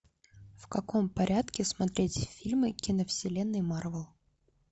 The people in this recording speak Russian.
в каком порядке смотреть фильмы киновселенной марвел